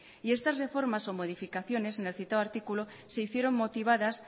y estas reformas o modificaciones en el citado artículo se hicieron motivadas